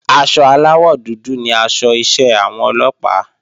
Aṣọ aláwọ̀ dúdú ni aṣọ iṣẹ́ àwọn Ọlọ́pàá